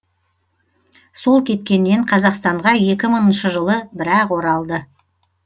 сол кеткеннен қазақстанға екі мыңыншы жылы бір ақ оралды